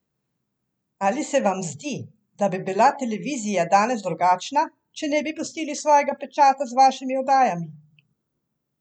Ali se vam zdi, da bi bila televizija danes drugačna, če ne bi pustili svojega pečata z vašimi oddajami?